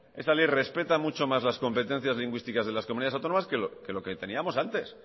esta ley respeta mucho más las competencias lingüísticas de las comunidades autónomas que lo que teníamos antes